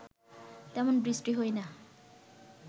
তেমন বৃষ্টি হয় না